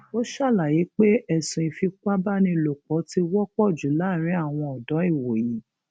ó ṣàlàyé pé ẹsùn ìfipábánilòpọ ti wọpọ jù láàrin àwọn ọdọ ìwòyí